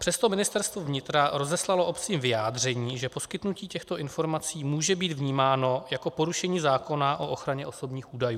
Přesto Ministerstvo vnitra rozeslalo obcím vyjádření, že poskytnutí těchto informací může být vnímáno jako porušení zákona o ochraně osobních údajů.